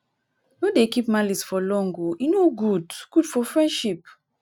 no dey keep malice for long o e no good good for friendship.